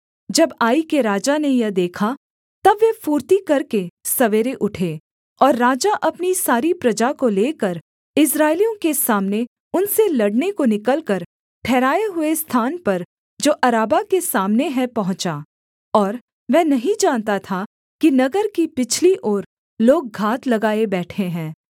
जब आई के राजा ने यह देखा तब वे फुर्ती करके सवेरे उठे और राजा अपनी सारी प्रजा को लेकर इस्राएलियों के सामने उनसे लड़ने को निकलकर ठहराए हुए स्थान पर जो अराबा के सामने है पहुँचा और वह नहीं जानता था कि नगर की पिछली ओर लोग घात लगाए बैठे हैं